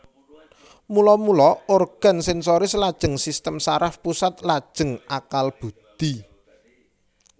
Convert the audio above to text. Mula mula organ sensoris lajeng sistem saraf pusat lajeng akal budhi